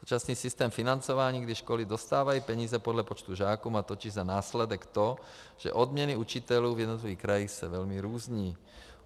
Současný systém financování, kdy školy dostávají peníze podle počtu žáků, má totiž za následek to, že odměny učitelů v jednotlivých krajích se velmi různí.